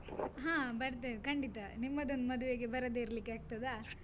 ಹಾ, ಬರ್ತೇವೆ ಖಂಡಿತ. ನಿಮ್ಮದೊಂದು ಮದುವೆಗೆ ಬರದೇ ಇರ್ಲಿಕ್ಕೆ ಆಗ್ತದಾ?